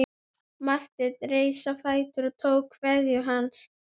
Horfði á bílana sem æddu framhjá.